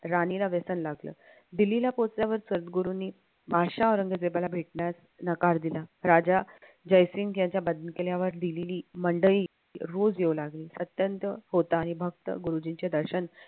राणीला व्यसन लागलं दिल्लीला पोहोचल्यावर सद्गुरूंनी बादशाह औरंगजेबाला भेटण्यास नकार दिला. राजा जयसिंग याच्या दिलेली मंडळी रोज येऊ लागली अत्यंत होता आणि भक्त गुरुजींचे दर्शन